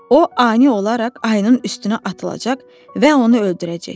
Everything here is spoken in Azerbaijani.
O ani olaraq ayının üstünə atılacaq və onu öldürəcək.